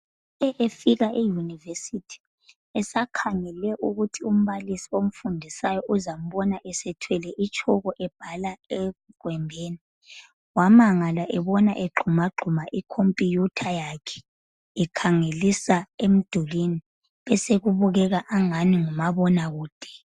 Uthe efika eyunivesithi esakhangele ukuthi umbalisi omfundisayo uzambona esethwele itshoko ebhala egwembini, wamangala ebona egxumagxuma ikhompuyutha yakhe ekhangelisa emdulini osekubukeka angani ngumabonakude.